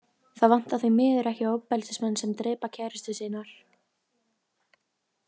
Það vantar því miður ekki ofbeldismenn sem drepa kærustur sínar.